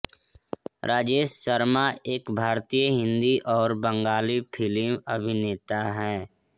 राजेश शर्मा एक भारतीय हिन्दी और बंगाली फ़िल्म अभिनेता है